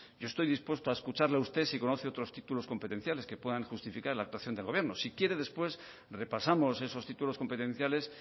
yo estoy dispuesto a escucharle a usted si conoce otros títulos competenciales que puedan justificar la actuación del gobierno si quiere después repasamos esos títulos competenciales